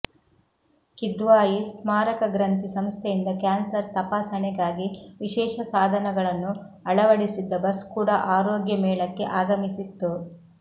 ಕಿದ್ವಾಯಿ ಸ್ಮಾರಕ ಗ್ರಂಥಿ ಸಂಸ್ಥೆಯಿಂದ ಕ್ಯಾನ್ಸರ್ ತಪಾಸಣೆಗಾಗಿ ವಿಶೇಷ ಸಾಧನಗಳನ್ನು ಅಳವಡಿಸಿದ್ದ ಬಸ್ ಕೂಡ ಆರೋಗ್ಯ ಮೇಳಕ್ಕೆ ಆಗಮಿಸಿತ್ತು